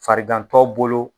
Farigantɔ bolo